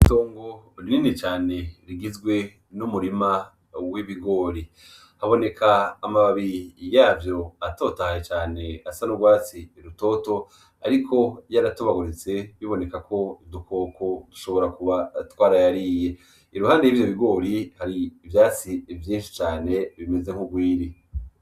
Itongo rinini cane rigizwe n’umurima w’ibigori , haboneka amababi yavyo atotahaye cane asa n’urwatsi rutoto ariko yaratobaguritse biboneka yuko udukoko dushobora kuba twarayariye , iruhande y’ivyo bigori hari ivyatsi vyinshi cane bimeze nk’ugwiri.